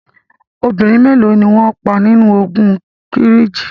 Obìnrin mélo ni wọn pa nínu ogun Kírìjí?